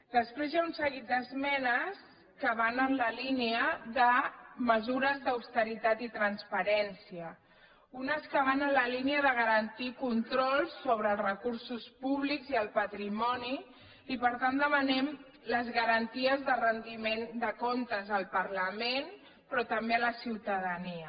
després hi ha un seguit d’esmenes que van en la línia de mesures d’austeritat i transparència unes que van en la línia de garantir controls sobre els recursos públics i el patrimoni i per tant demanem les garanties de rendiment de comptes al parlament però també a la ciutadania